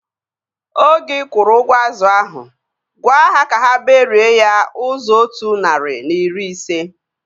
Oge ikwuru ụgwọ azụ ahu, gwaa ha ka ha berie ya ụzọ otu narị na iri ise